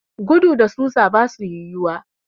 Gudu da susa basu yiwuwa.